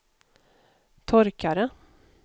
torkare